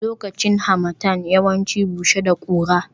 Lokacin Harmattan yawanci bushe da kura